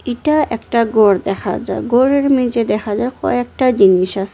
এটা একটা গর দেখা যায় গরের মেঝে দেখা যায় কয়েকটা জিনিস আসে।